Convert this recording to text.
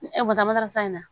Ni e bɛ taa makaran sa in na